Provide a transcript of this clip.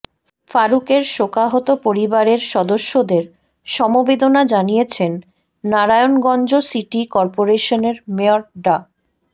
ফারুকের শোকাহত পরিবারের সদস্যদের সমবেদনা জানিয়েছেন নারায়ণগঞ্জ সিটি করপোরেশনের মেয়র ডা